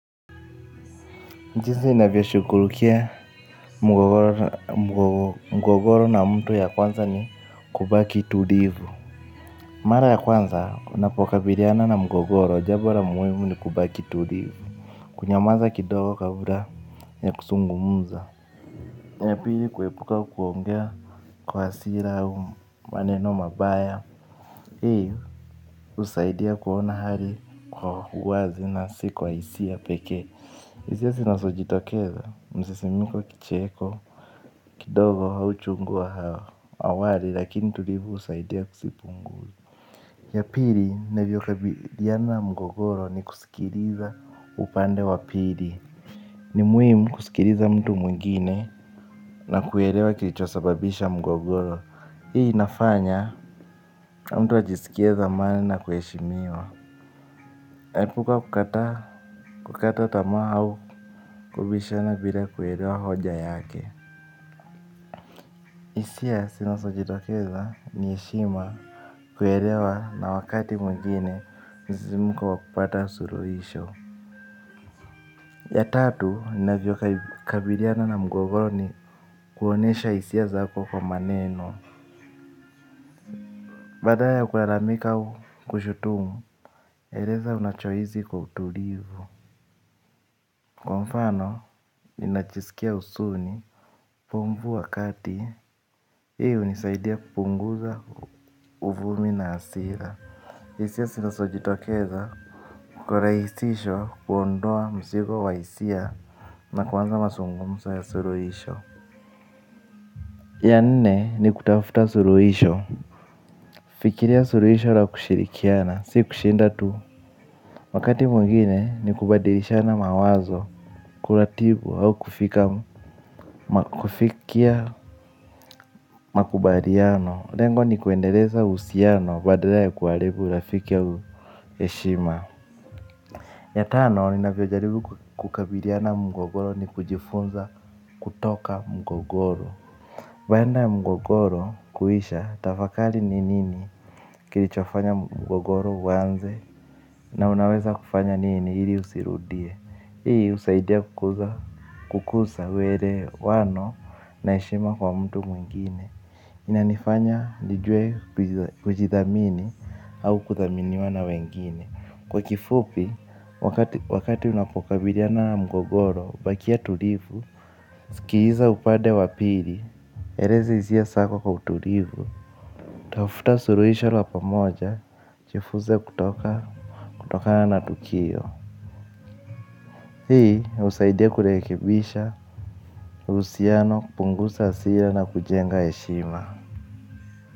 Jinsi inavya shukurukia mgogoro na mtu ya kwanza ni kubaki tulivu. Mara ya kwanza, unapoka biriana na mgogoro, jabo la muhimu ni kubaki tulivu. Kunyamaza kidogo kabla ya kusungumuza na pili kuepuka kuongea kwa hasira au maneno mabaya. Hii, usaidia kuona hali kwa huwazi na si kwa hisia peke. Isia sinasojitokeza, msisimuko kicheko, kidogo hauchungua hawa, awari lakini tulivu usaidia kusipungu. Ya pili, navyo kabiliana na mgogoro ni kusikiriza upande wa pili. Ni muhimu kusikiriza mtu mwingine na kuelewa kilichosababisha mgogoro. Hii inafanya, mtu ajisikie zamani na kueshimiwa. Naipuka kukata, kukata tama au kubishana bila kuelewa hoja yake. Isia sinazojitokeza ni yeshima kuelewa na wakati mwingine nisimuko kwa kupata suruhisho. Ya tatu, ninavyo kabiriana na mgogoro ni kuonesha isia zako kwa maneno. Badala ya kularamika au kushutumu, eleza unachohizi kwa utulivu. Kwa mfano, ninachisikia usuni, pumbu wakati, iyo nisaidia kupunguza uvumi na asira. Hisiya sinasojitokeza kura isisho kuondoa msigo wa isia na kwanza masungumsa ya suruhisho. Ya nne ni kutafuta suruhisho. Fikiria suruhisho la kushirikiana, si kushinda tu. Wakati mungine ni kubadirishana mawazo, kulatibu au kufika makubaliano. Lengo ni kuendereza usiano badala ya kualibu ulafikia au heshima. Ya tano, ninavyo jaribu kukabiriana mgogoro ni kujifunza kutoka mgogoro. Bayanda ya mgogoro kuisha tafakali ni nini kilichofanya mgogoro wanze na unaweza kufanya nini hili usirudie. Hii usaidia kukusa wele wano na ishima kwa mtu mwingine. Inanifanya nijue kujithamini au kuthaminiwana wengine. Kwa kifupi, wakati unapokabilia na mgogoro, bakia tulivu, sikiza upade wapili, erezi zia sako kwa tulivu, tafuta suruhisha la pamoja, chifuze kutoka kutokana na tukio. Hi usaidia kurekebisha husiano kupunguza hasira na kujenga heshima.